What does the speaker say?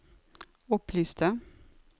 opplyste